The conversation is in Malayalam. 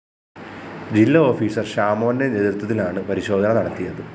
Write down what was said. ജില്ലാ ഓഫീസർ ഷാമോന്റെ നേതൃത്വത്തിലാണ് പരിശോധന നടത്തിയത്